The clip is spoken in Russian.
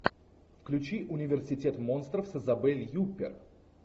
включи университет монстров с изабель юппер